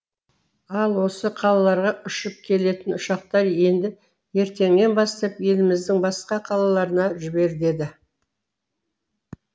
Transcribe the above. ал осы қалаларға ұшып келетін ұшақтар енді ертеңнен бастап еліміздің басқа қалаларына жіберіледі